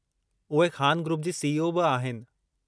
उहे ख़ान ग्रुप जी सीईओ बि आहिनि।